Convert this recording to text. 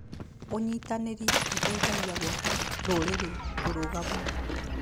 ũnyitanĩri ũteithagia gwaka rũrĩrĩ rũrũgamu.